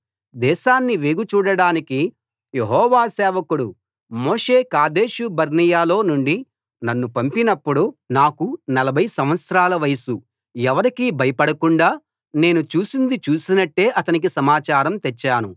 దేశాన్ని వేగుచూడడానికి యెహోవా సేవకుడు మోషే కాదేషు బర్నేయలో నుండి నన్ను పంపినప్పుడు నాకు నలభై సంవత్సరాల వయసు ఎవరికీ భయపడకుండా నేను చూసింది చూసినట్టే అతనికి సమాచారం తెచ్చాను